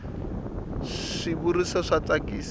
swi vuriso swa tsakisa